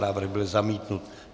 Návrh byl zamítnut.